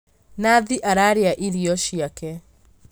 Nathi ararĩa irio ciake